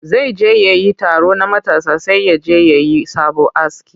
Zai je wani taro na matasa sai ya je ya yi sabo aski